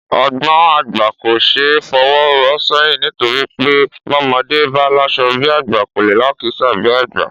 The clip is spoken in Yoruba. Ọgbọ̀n àgbà kò ṣe é fọwọ́ rọ́ sẹ́yìn nítorí pé bọ́mọdé bá láṣọ bí àgbà, kò lè lákìísà bí àgbà